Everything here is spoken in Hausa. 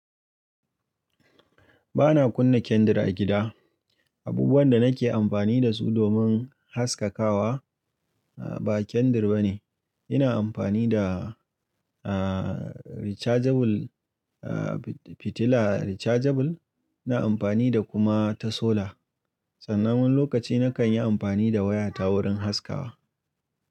Ba na kunna kendar a gida. Abubuwan da nake amfani da su domin haskakawa ba kendar ba ne. Ina amfani da, aaah, rechargeable, aaah, fitila rechargeable. Ina amfani da kuma ta solar. Tsanan wani lokaci na kan yi amfani da waya ta wurin haskawa.